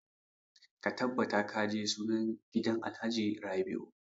Ka tabbata ka je sunan gidan alhaji rabiu!